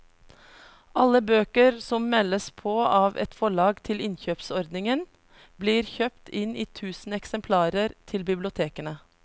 Alle bøker som meldes på av et forlag til innkjøpsordningen blir kjøpt inn i tusen eksemplarer til bibliotekene.